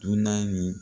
Dunan ye